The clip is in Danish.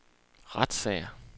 retssager